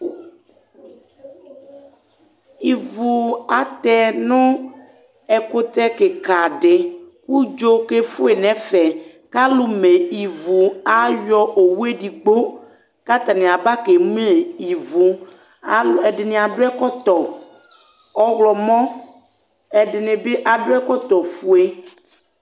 Ivu atɛ nʋ ɛkʋtɛ kɩka dɩ kʋ udzo kefue nɛfɛ; kalʋ me ivu ayɔ owu edigbo ka atanɩ aba ke me ivuƐdɩnɩ adʋ ɛkɔtɔ ɔɣlɔmɔ, ɛdɩnɩ bɩ adʋ ɛkɔtɔ fue